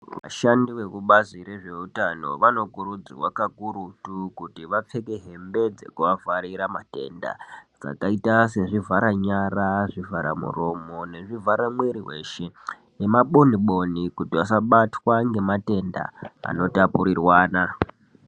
Vashandi vekubazi rezveutano vanokurudzirwa kakurutu kuti vapfeke hembe dzekuavharira matenda zvakaita sezvivhara nyara, zvivhara muromo nezvivhara muiri weshe nemaboniboni kuti vasabatwa nematenda anotapurirwana.